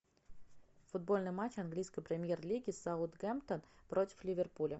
футбольный матч английской премьер лиги саутгемптон против ливерпуля